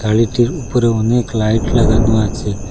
গাড়িটির উপরে অনেক লাইট লাগানো আছে।